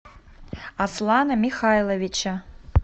аслана михайловича